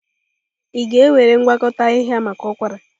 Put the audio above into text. Ị ga-ewere ngwakọta ahịhịa maka ụkwara?